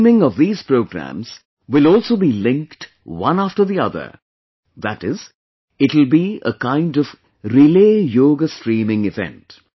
Streaming of these programs will also be linked one after the other, that is, it will be a kind of relay Yoga streaming event